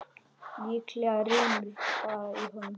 Líklega rymur bara í honum.